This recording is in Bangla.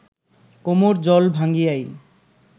কোমড় জল ভাঙ্গিয়াই